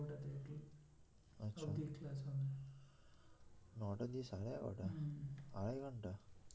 নটা থেকে সাড়ে এগারোটা আড়াই ঘণ্টা